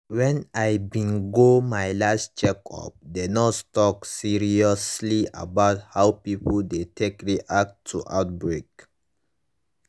when i bin go my last checkup the nurse talk seriously about how people dey take react to outbreak